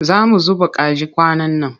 Za mu zuba kaji kwanan nan.